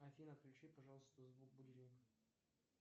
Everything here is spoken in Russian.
афина отключи пожалуйста звук будильника